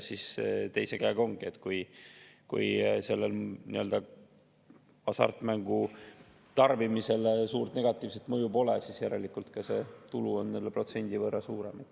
Teiselt poolt ongi nii, et kui sellel hasartmängu nii-öelda tarbimisele suurt negatiivset mõju pole, siis järelikult see tulu on jälle protsendi võrra suurem.